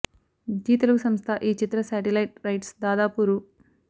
G Telugu సంస్థ ఈ చిత్ర శాటిలైట్ రైట్స్ దాదాపు రూ